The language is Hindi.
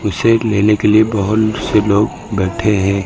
उसे लेने के लिए बहुत से लोग बैठे हैं।